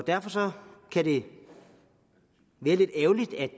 derfor er det lidt ærgerligt at